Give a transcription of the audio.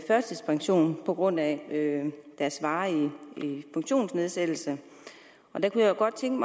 førtidspension på grund af deres varige funktionsnedsættelse kunne jeg godt tænke